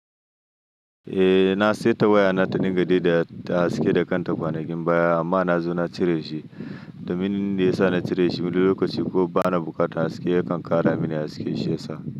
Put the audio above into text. Eh na saya tawaya na ta dinga dai da ta haske da kanta kwanakin baya amma na zo na cire shi, domin inda ya sa na cire shi, mili lokaci ko ba na bukata haske yakan ƙara mini haske shi ya sa.